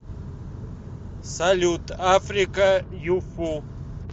салют африка юфу